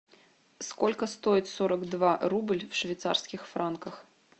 сколько стоит сорок два рубль в швейцарских франках